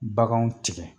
Baganw tigɛ